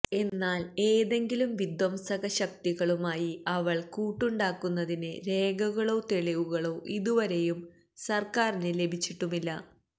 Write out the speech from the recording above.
എന്നാല് ഏതെങ്കിലും വിധ്വംസകശക്തികളുമായി അവള് കൂട്ടുണ്ടാക്കുന്നതിന് രേഖകളോ തെളിവുകളോ ഇതുവരേയും സര്ക്കാരിന് ലഭിച്ചിട്ടുമില്ല